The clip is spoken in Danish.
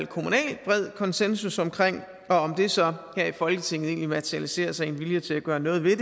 kommunal konsensus om om det så her i folketinget kan materialisere sig i en vilje til at gøre noget ved